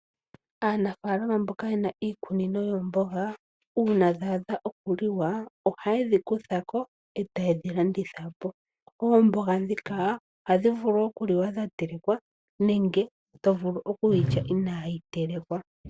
Aanafalama mboka yena iikunino yomboga uuna dha adha okuliwa ohaye dhi kuthako etaye dhilanditha po. Omboga dhika ohadhi vulu okuliwa dhatelekwa nenge tovulu okulya inayi telekwa.